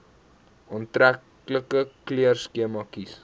aantreklike kleurskema kies